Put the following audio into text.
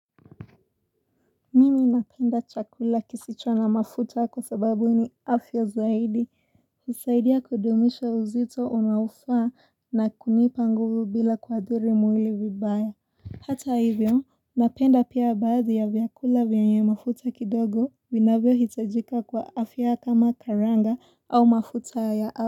Mimi napenda chakula kisicho na mafuta kwa sababu ni afya zaidi. Husaidia kudumisha uzito unaofaa na kunipa nguvu bila kuathiri mwili vibaya. Hata hivyo, napenda pia baadhi ya vyakula vyenye mafuta kidogo, vinavyohitajika kwa afya kama karanga au mafuta ya.